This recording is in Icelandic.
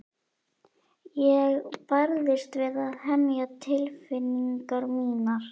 Ég barðist við að hemja tilfinningar mínar.